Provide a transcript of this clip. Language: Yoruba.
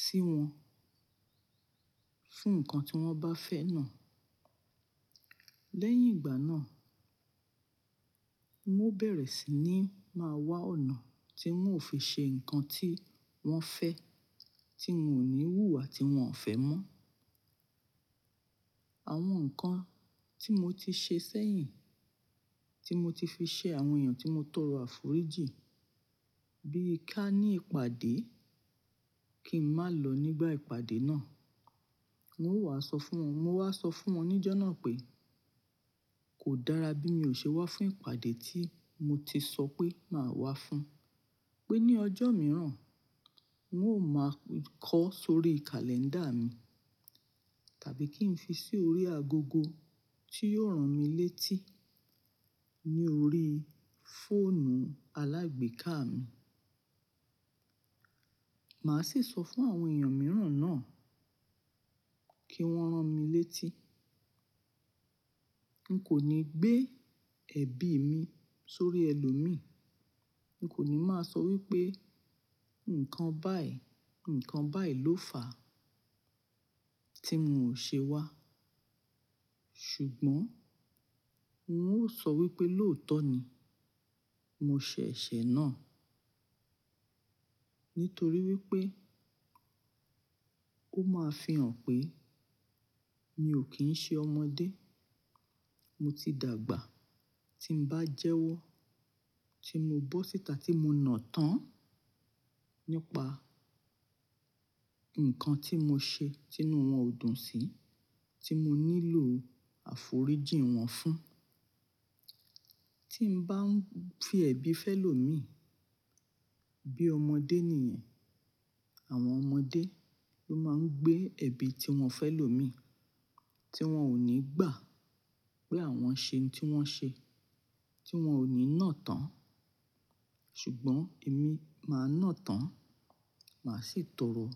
sí wọn fún ǹkan tí wọ́n bá fẹ́ náà. Lẹ́yìn ìgbà náà, n ó bẹ̀rẹ̀ sí ní máa wá ọ̀nà tí n ó fi ṣe ǹkan tí wọ́n fẹ́ tí n ò ní wú àti wọn ò fẹ́ mọ́. Àwọn ǹkan tí mo ti ṣe sẹ́yìn tí mo ti fi ṣe àwọn èèyàn tí mo tọrọ àforíjì bí i ká ní ìpàdé kí n má lọ nígbà ìpàdé náà. N ó wá sọ fún wọn, mo wá sọ fún wọn níjọ́ náà pé kò dára bí mi ò ṣe wá fún ìpàdé tí mo ti sọ pé máa wá fún. Pé ní ọjọ́ mìíràn, n ó máa kọ sórí kàlẹ́ńdà mi tàbí kí n fi sí orí agogo tí yóò rán mi létí ní orí fóònù alágbèéká mi. Màá sì sọ fún àwọn èèyàn mìíràn náà kí wọ́n rán mi létí. N kò ní gbé ẹ̀bi mi sórí ẹlòmíì. N kò ní máa sọ wípé ǹkan báyìí, ǹkan báyìí ló fà á tí n ò ṣe wá. Ṣùgbọ́n oun ó sọ wípé lóòótọ́ ni. Mo ṣe ẹ̀ṣẹ̀ náà nítorí wípé ó máa fihàn pé mi ò kín ń ṣe ọmọdé. Mo ti dàgbà. Tí n bá jẹ́wọ́, tí mo bọ́ síta tí mo nà tán nípa ǹkan tí mo ṣe tí inú wọn ò dùn sí, tí mo nílò àforíjì wọn fún. Tí n bá ń fi ẹ̀bi fẹ́ lò mi bí ọmọdé ni ẹ̀. Àwọn ọmọdé ló máa ń gbé ẹ̀bi tí wọ́n fẹ́ lò mi tí wọ́n ò ní gbà pé àwọn ṣe ohun tí wọ́n ṣe, tí wọn ò ní nà tán. Ṣùgbọ́n èmi máa nà tán, màá sì tọrọ.